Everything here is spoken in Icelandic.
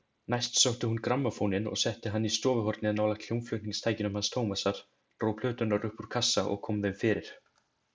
Næst sótti hún grammófóninn og setti hann í stofuhornið nálægt hljómflutningstækjunum hans Tómasar, dró plöturnar upp úr kassa og kom þeim fyrir.